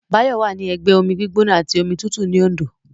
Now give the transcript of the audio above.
Báyọ̀ wà ní ẹgbẹ́ omi gbígbóná àti omi tútù ní Òndó